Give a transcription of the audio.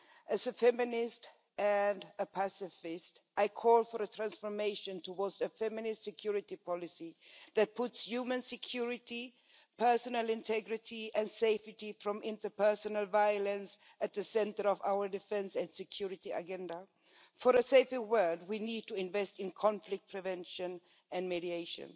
As a feminist and a pacifist, I call for a transformation towards a feminist security policy that puts human security, personal integrity and safety from interpersonal violence at the centre of our defence and security agenda. For a safer world we need to invest in conflict prevention and mediation.